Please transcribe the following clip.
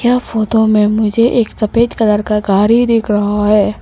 यह फोटो में मुझे एक सफेद कलर का गाड़ी दिख रहा है।